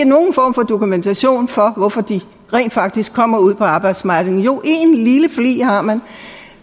nogen form for dokumentation for hvorfor de rent faktisk kommer ud på arbejdsmarkedet jo en lille flig har man